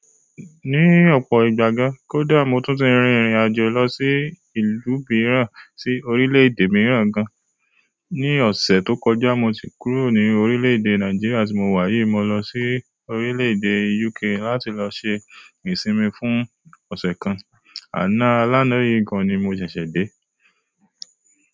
Ní ọ̀pọ̀ ìgbà gan, kódà mo tún ti rìn irìn àjò lọ sí ìlú mìíràn, sí orílè-èdè mìíràn gan. Ni ọ̀sẹ̀ tó kọjá mo ti kúrò ní orílè-èdè Nàìjíríà tí mo wà yìí, mo lọ sí orílè-èdè UK láti lọ ṣe ìṣinmi fún ọ̀sẹ̀ kan. Àná alánà yìí gan ni mo ṣẹ̀ṣẹ̀ dé.